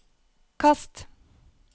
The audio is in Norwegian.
kast